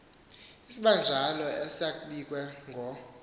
isibanjalo esakbiwe ngo